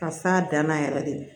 Ka s'a danna yɛrɛ de